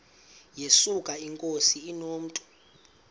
yesuka inkosi inomntu